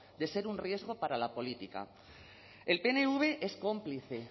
de ser un riesgo para la política el pnv es cómplice